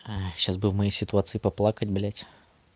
сейчас бы в моей ситуации поплакать блять